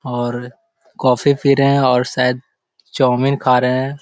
और कॉफ़ी पी रहे हैं और शायद चौमिन खा रहे हैं ।